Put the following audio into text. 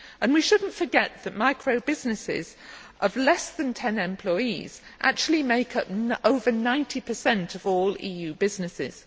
We should not forget that micro businesses of less than 10 employees actually make up over 90 of all EU businesses.